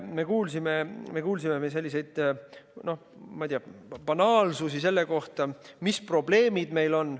Me kuulsime veel selliseid, noh, ma ei tea, banaalsusi selle kohta, mis probleemid meil on.